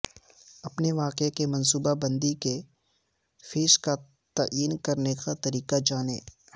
اپنے واقعے کی منصوبہ بندی کے فیس کا تعین کرنے کا طریقہ جانیں